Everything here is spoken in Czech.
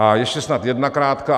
A ještě snad jedna krátká...